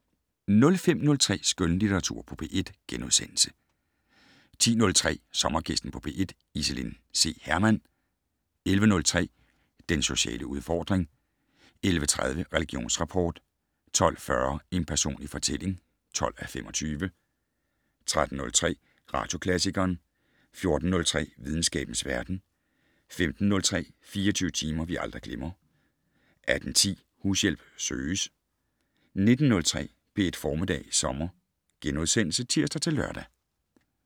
05:03: Skønlitteratur på P1 * 10:03: Sommergæsten på P1: Iselin C. Hermann 11:03: Den sociale udfordring 11:30: Religionsrapport 12:40: En personlig fortælling (12:25) 13:03: Radioklassikeren 14:03: Videnskabens verden 15:03: 24 timer, vi aldrig glemmer 18:10: Hushjælp søges 19:03: P1 Formiddag Sommer *(tir-lør)